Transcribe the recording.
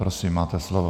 Prosím, máte slovo.